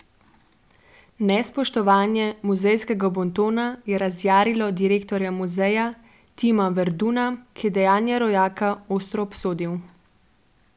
Nespoštovanje muzejskega bontona je razjarilo direktorja muzeja Tima Verduna, ki je dejanje rojaka ostro obsodil.